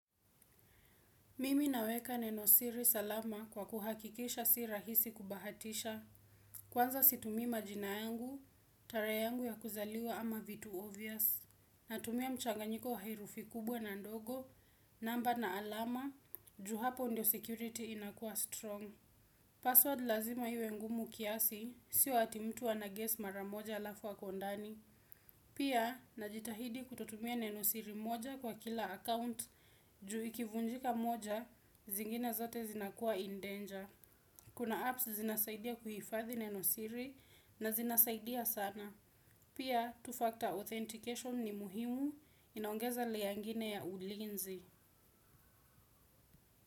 Mimi naweka neno siri salama kwa kuhakikisha si rahisi kubahatisha. Kwanza situmii majina yangu, tarehe yangu ya kuzaliwa ama vitu obvious. Natumia mchanganyiko wa herufi kubwa na ndogo, namba na alama, ju hapo ndio security inakua strong. Password lazima iwe ngumu kiasi, si ati mtu ana guess mara moja halafu ako ndani. Pia, najitahidi kutotumia nenosiri moja kwa kila account juu ikivunjika moja, zingine zote zinakuwa in danger. Kuna apps zinasaidia kuhifathi nenosiri na zinasaidia sana. Pia, mbili Factor authentication ni muhimu, inaongeza layer ngine ya ulinzi.